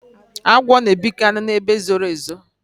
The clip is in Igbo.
agwọ na ebikari na ebe zoro ezo